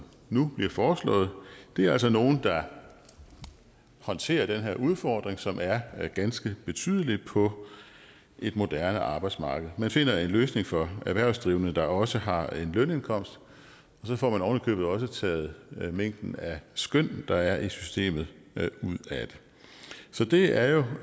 nu bliver foreslået er altså nogle der håndterer den her udfordring som er ganske betydelig på et moderne arbejdsmarked man finder en løsning for erhvervsdrivende der også har en lønindkomst og så får man oven i købet også taget mængden af skøn der er i systemet ud af det så det er